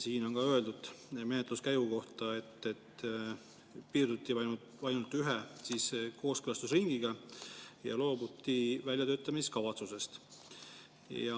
Siin on ka öeldud menetluskäigu kohta, et piirduti ainult ühe kooskõlastusringiga ja loobuti väljatöötamiskavatsusest.